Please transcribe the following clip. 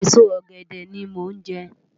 Esó ògèdè ni mó nje